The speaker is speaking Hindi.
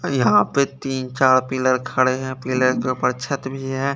यहाँ पे तिन चार पिलर खड़े है पिलर के ऊपर छत भी है।